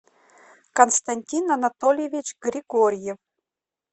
константин анатольевич григорьев